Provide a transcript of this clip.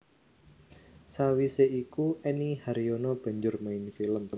Sawisé iku Enny Haryono banjur main film